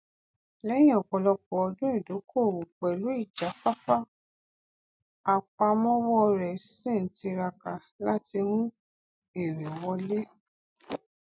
lẹhìn ọpọlọpọ ọdún ìdókòwò pẹlú ìjáfáfá àpamọwọ rẹ ṣì n tiraka láti mú èrè wọlé